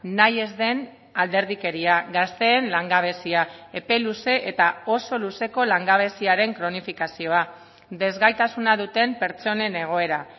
nahi ez den alderdikeria gazteen langabezia epe luze eta oso luzeko langabeziaren kronifikazioa desgaitasuna duten pertsonen egoera